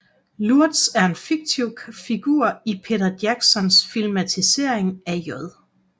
Lurtz er en fiktiv figur i Peter Jacksons filmatisering af J